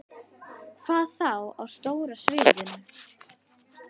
Hvað þá á stóra sviðinu?